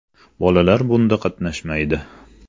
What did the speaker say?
Bolalar bunda qatnashmaydi.